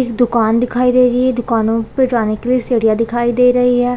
एक दुकान दिखाई दे रही है दुकानो पे जाने के लिए सीढ़ियाँ दिखाई दे रही हैं।